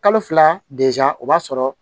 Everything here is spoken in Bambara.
Kalo fila o b'a sɔrɔ